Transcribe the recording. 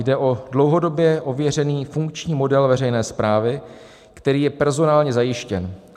Jde o dlouhodobě ověřený funkční model veřejné správy, který je personálně zajištěn.